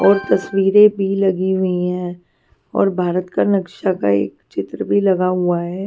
और तस्वीरें भी लगी हुई हैं और भारत का नक्शा का एक चित्र भी लगा हुआ है.